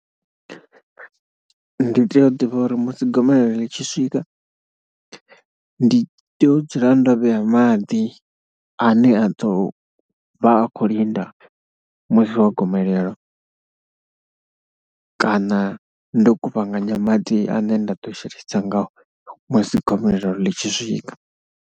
Ndi tea u ḓivha uri musi gomelelo ḽi tshi swika ndi tea u dzula ndo vhea maḓi ane a ḓo vha khou linda musi wa gomelelo kana ndo kuvhanganya maḓi ane nda ḓo shelesa ngao musi gomelelo ḽi tshi swika.